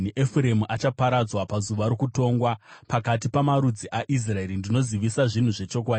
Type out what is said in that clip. Efuremu achaparadzwa pazuva rokutongwa. Pakati pamarudzi aIsraeri ndinozivisa zvinhu zvechokwadi.